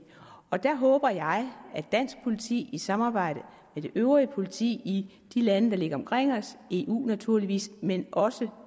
der håber jeg at dansk politi samarbejder med det øvrige politi i de lande der ligger omkring os i eu naturligvis men også